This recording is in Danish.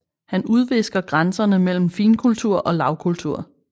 Han udvisker grænserne mellem finkultur og lavkultur